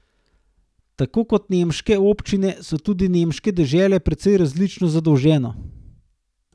Tako kot nemške občine so tudi nemške dežele precej različno zadolžene.